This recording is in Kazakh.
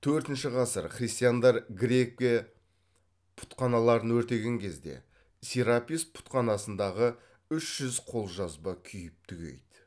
төртінші ғасыр христиандар грекия пұтханаларын өртеген кезде серапис пұтханасындағы үш жүз қолжазба күйіп түгейді